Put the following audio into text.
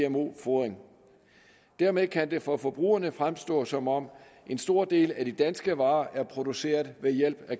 gmo fodring dermed kan det for forbrugerne fremstå som om en stor del af de danske varer er produceret ved hjælp af